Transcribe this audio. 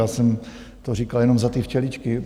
Já jsem to říkal jenom za ty včeličky.